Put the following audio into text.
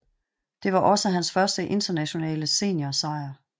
Det var også hans første internationale seniorsejr